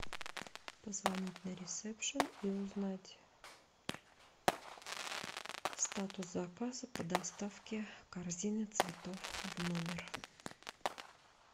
позвонить на ресепшн и узнать статус заказа по доставке корзины цветов в номер